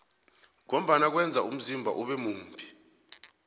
ngombana kweza umzimba ube mumbi